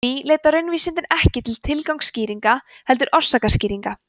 því leita raunvísindin ekki tilgangsskýringa heldur orsakaskýringa